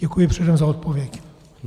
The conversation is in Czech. Děkuji předem za odpověď.